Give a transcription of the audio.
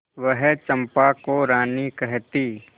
वह चंपा को रानी कहती